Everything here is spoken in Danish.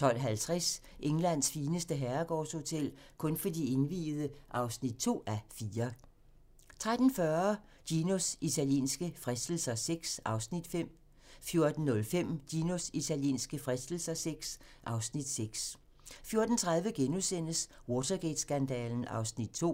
12:50: Englands fineste herregårdshotel - kun for de indviede (2:4) 13:40: Ginos italienske fristelser VI (Afs. 5) 14:05: Ginos italienske fristelser VI (Afs. 6) 14:30: Watergate-skandalen (Afs. 2)*